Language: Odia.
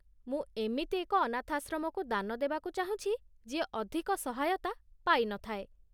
ମୁଁ ଏମିତି ଏକ ଅନାଥାଶ୍ରମକୁ ଦାନ ଦେବାକୁ ଚାହୁଁଛି ଯିଏ ଅଧିକ ସହାୟତା ପାଇ ନଥାଏ।